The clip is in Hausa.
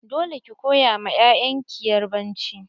Dole ki koya ma 'ya'yan ki yarbanci!